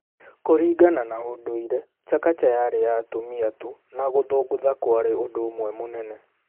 Kũringana na ũndũire, Chakacha yari ya atumia tu na gũthũngũtha kwarĩ ũndũ ũmwe mũnene.